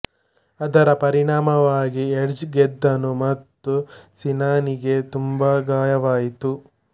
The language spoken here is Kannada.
ಅದರ ಪರಿಣಾಮವಾಗಿ ಎಡ್ಜ್ ಗೆದ್ದನು ಮತ್ತು ಸಿನನಿಗೆ ತುಂಬಾ ಗಾಯವಾಯಿತು